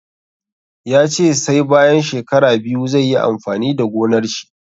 Ya ce sai bayan shekara biyu zai yi amfani da gonar shi.